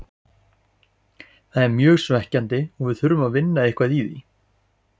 Það er mjög svekkjandi og við þurfum að vinna eitthvað í því.